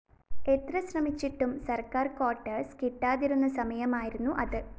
എത്ര ശ്രമിച്ചിട്ടും സര്‍ക്കാര്‍ ക്വാർട്ടേഴ്സ്‌ കിട്ടാതിരുന്ന സമയമായിരുന്നു അത്